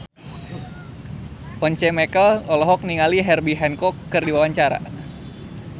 Once Mekel olohok ningali Herbie Hancock keur diwawancara